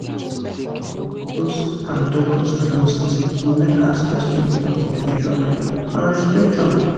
ah doctors and doctors and nurses go like ask questions about spiritual matter and respect am